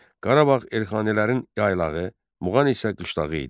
Qarabağ Elxanilərin yaylağı, Muğan isə qışlağı idi.